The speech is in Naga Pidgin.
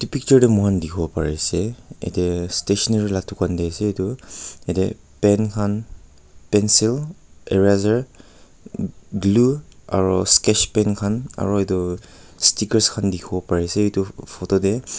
picture de mukan dikibo pari ase yete stationery la dukan de ase etu yete pen kan pencil eraser glue aro sketch pen kan aro etu stickers kan dikibo pari ase etu photo de.